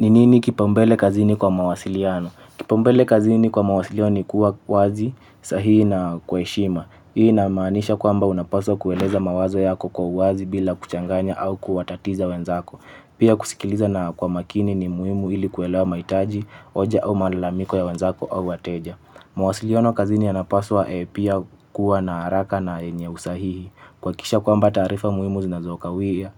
Ni nini kipaumbele kazini kwa mawasiliano? Kipaumbele kazini kwa mawasiliano ni kuwa wazi, sahihi na kwa heshima. Hii inamaanisha kwamba unapaswa kueleza mawazo yako kwa uwazi bila kuchanganya au kuwatatiza wenzako. Pia kusikiliza na kwa makini ni muhimu ili kuelewa mahitaji, hoja au malalamiko ya wenzako au wateja. Mawasiliano kazini yanapaswa pia kuwa na haraka na yenye usahihi. Kuhakikisha kwamba taarifa muhimu zinazokawia,